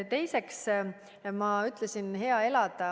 Teiseks, ma ütlesin: hea elada.